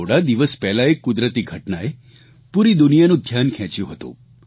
થોડા દિવસ પહેલાં એક કુદરતી ઘટનાએ પૂરી દુનિયાનું ધ્યાન ખેંચ્યું હતું